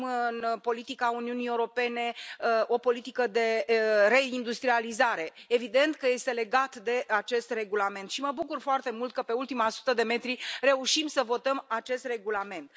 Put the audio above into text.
Avem în politica Uniunii Europene o politică de reindustrializare. Evident că este legată de acest regulament și mă bucur foarte mult că pe ultima sută de metri reușim să votăm acest regulament.